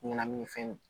Ɲɛnaminifɛn